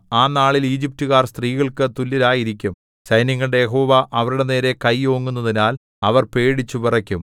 ആ നാളിൽ ഈജിപ്റ്റുകാർ സ്ത്രീകൾക്ക് തുല്യരായിരിക്കും സൈന്യങ്ങളുടെ യഹോവ അവരുടെ നേരെ കൈ ഓങ്ങുന്നതിനാൽ അവർ പേടിച്ചു വിറയ്ക്കും